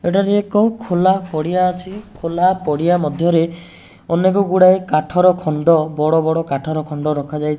ଏଠାରେ ଏକ ଖୋଲା ପଡିଆ ଅଛି ଖୋଲା ପଡିଆ ମଧ୍ୟ୍ୟରେ ଅନେକ ଗୁଡ଼ାଏ କାଠର ଖଣ୍ଡ ବଡ଼ ବଡ଼ କାଠର ଖଣ୍ଡ ରଖାଯାଇ --